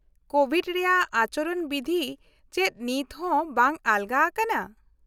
- ᱠᱳᱵᱷᱤᱰ ᱨᱮᱭᱟᱜ ᱟᱪᱚᱨᱚᱱ ᱵᱤᱫᱷᱤ ᱪᱮᱫ ᱱᱤᱛ ᱦᱚᱸ ᱵᱟᱝ ᱟᱞᱚᱜᱟ ᱟᱠᱟᱱᱟ?